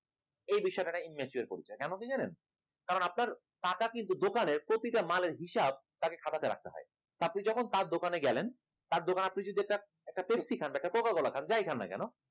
এই বিষয়টা একটা immature এর পরিচয় কেন কি জানেন কারণ আপনার কাকার কিন্তু দোকানের প্রতিটা মালের হিসাব তাকে খাতাতে রাখতে হয়, আপনি যখন তার দোকানে গেলেন তার দোকান আপনি যদি একটা একটা পেপসি খান বা একটা কোকা কোলা যায় খান না কেন